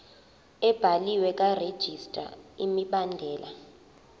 ebhaliwe karegistrar imibandela